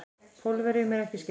Pólverjunum er ekki skemmt.